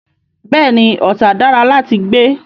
Bẹ́ẹ̀ ni, Ọ̀tà dára láti gbé.